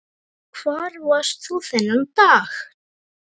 Hvar varst þú þennan dag?